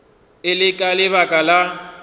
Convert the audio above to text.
e le ka lebaka la